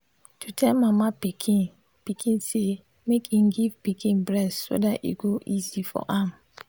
to tell mama pikin pikin say make im give pikin breast so that e go easy for am.